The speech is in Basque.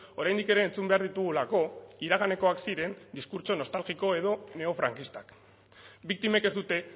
oraindik ere entzun behar ditugulako iraganekoak ziren diskurtso nostalgiko edo neofrankistak biktimek ez dute